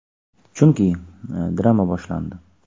Chunki, drama boshlandi.